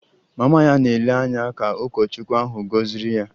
Mama ya na-ele anya ka ụkọchukwu ahụ gọziri ya